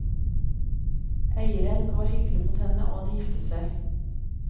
Eieren var hyggelig mot henne, og de giftet seg.